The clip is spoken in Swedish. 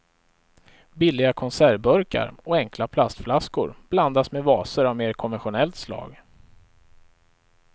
Billiga konservburkar och enkla plastflaskor blandas med vaser av mer konventionellt slag.